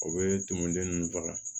O bɛ tumuniden ninnu faga